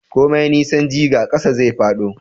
komai nisan jiga, ƙasa zai fado